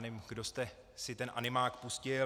Nevím, kdo jste si ten animák pustil.